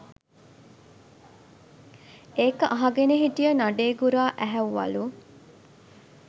ඒක අහගෙන හිටිය නඩේ ගුරා ඇහැව්වලු